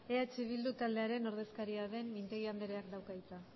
eh bildu taldearen ordezkaria den mintegi andreak dauka hitza